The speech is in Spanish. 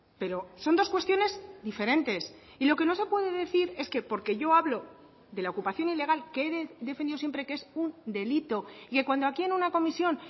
pero son dos cuestiones diferentes y lo que no se puede decir es que porque yo hablo de la ocupación ilegal que he defendido siempre que es un delito y que cuando aquí en una comisión